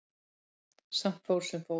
Samt fór sem fór.